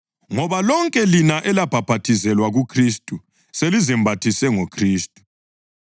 ngoba lonke lina elabhaphathizelwa kuKhristu selizembathise ngoKhristu.